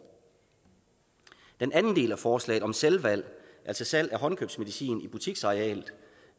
den anden del af forslaget om selvvalg altså salg af håndkøbsmedicin i butiksarealer